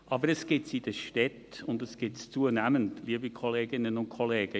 Aber es gibt es in den Städten, und es gibt es zunehmend, liebe Kolleginnen und Kollegen.